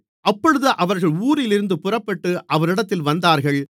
அப்பொழுது அவர்கள் ஊரிலிருந்து புறப்பட்டு அவரிடத்தில் வந்தார்கள்